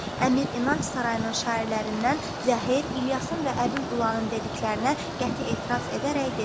Əmir İnanc Sarayının şairlərindən Zəhir İlyasın və Əbül Ülanın dediklərinə qəti etiraz edərək dedi.